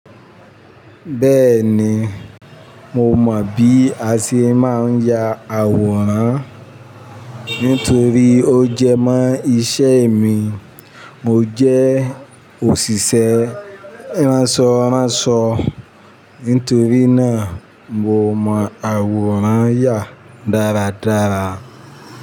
Bẹ́ẹ̀ni, mo mọ bí a ṣe máa ń ya àwòrán nítorí ó jẹ mọ́ iṣẹ́ mi. Mo jẹ́ òṣìṣẹ́ ránsọ ránsọ, nítorí náà mo mọ àwòrán yà dáradára.